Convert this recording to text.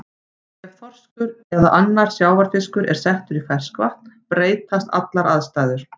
Ef þorskur eða annar sjávarfiskur er settur í ferskvatn breytast allar aðstæður.